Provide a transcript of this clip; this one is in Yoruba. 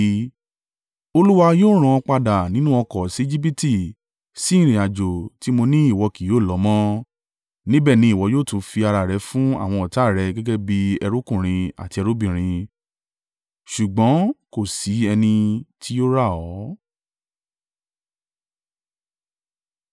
Olúwa yóò rán ọ padà nínú ọkọ̀ sí Ejibiti sí ìrìnàjò tí mo ní ìwọ kì yóò lọ mọ́. Níbẹ̀ ni ìwọ yóò tún fi ara rẹ fún àwọn ọ̀tá à rẹ gẹ́gẹ́ bí ẹrúkùnrin àti ẹrúbìnrin, ṣùgbọ́n kò sí ẹni tí yóò rà ọ́.